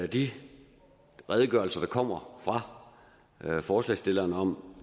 de redegørelser der kommer fra forslagsstillerne om